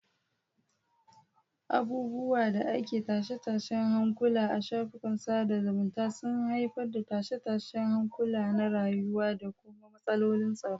Abubuwan da ake tashe-tashen hankula a shafukan sada zumunta sun haifar da tashe-tashen hankula na rayuwa da kuma matsalolin tsaro.